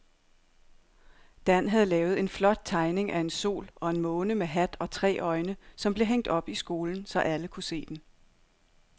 Dan havde lavet en flot tegning af en sol og en måne med hat og tre øjne, som blev hængt op i skolen, så alle kunne se den.